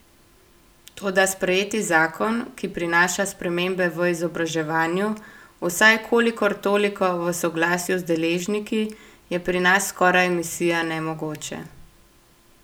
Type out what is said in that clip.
Toda sprejeti zakon, ki prinaša spremembe v izobraževanju, vsaj kolikor toliko v soglasju z deležniki, je pri nas skoraj misija nemogoče.